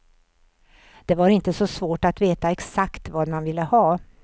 Det var inte så svårt att veta exakt vad man ville ha.